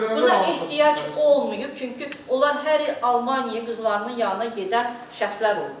Burda ehtiyac olmayıb, çünki onlar hər il Almaniyaya qızlarının yanına gedən şəxslər olublar.